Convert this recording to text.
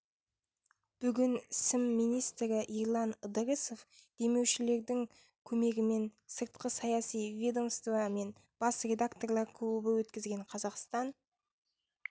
бүгін сім министрі ерлан ыдырысов демеушілердің көмегімен сыртқы саяси ведомство мен бас редакторлар клубы өткізген қазақстан